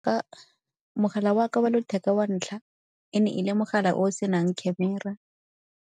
Ka, mogala waka wa letheka wa ntlha e ne e le mogala o o se nang camera.